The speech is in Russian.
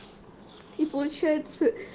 и получается